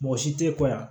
Mɔgɔ si tɛ ko yan